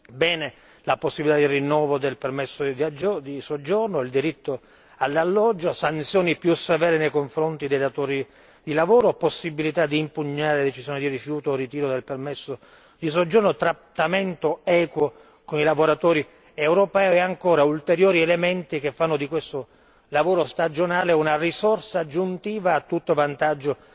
Bene la possibilità di rinnovo del permesso di soggiorno, il diritto all'alloggio, sanzioni più severe nei confronti dei datori di lavoro, possibilità di impugnare decisioni di rifiuto o ritiro del permesso di soggiorno, trattamento equo con i lavoratori europei e ancora ulteriori elementi che fanno di questo lavoro stagionale una risorsa aggiuntiva a tutto vantaggio